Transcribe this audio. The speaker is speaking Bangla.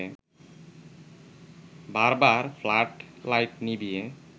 বারবার ফ্লাড লাইট নিভিয়ে